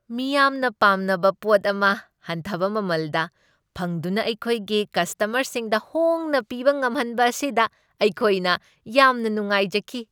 ꯃꯤꯌꯥꯝꯅ ꯄꯥꯝꯅꯕ ꯄꯣꯠ ꯑꯃ ꯍꯟꯊꯕ ꯃꯃꯜꯗ ꯐꯪꯗꯨꯅ ꯑꯩꯈꯣꯏꯒꯤ ꯀꯁꯇꯃꯔꯁꯤꯡꯗ ꯍꯣꯡꯅ ꯄꯤꯕ ꯉꯝꯍꯟꯕ ꯑꯁꯤꯗ ꯑꯩꯈꯣꯏꯅ ꯌꯥꯝꯅ ꯅꯨꯡꯉꯥꯏꯖꯈꯤ ꯫